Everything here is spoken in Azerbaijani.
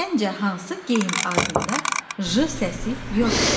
Səncə hansı geyim adında j səsi yoxdur?